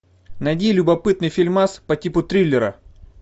найди любопытный фильмас по типу триллера